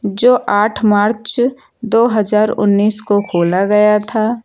जो आठ मार्च दो हजार उन्नीस को खोला गया था।